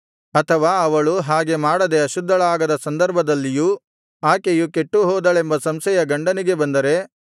ಅಥವಾ ಅವಳು ಹಾಗೆ ಮಾಡದೆ ಅಶುದ್ಧಳಾಗದ ಸಂದರ್ಭದಲ್ಲಿಯೂ ಆಕೆಯು ಕೆಟ್ಟುಹೋದಳೆಂಬ ಸಂಶಯ ಗಂಡನಿಗೆ ಬಂದರೆ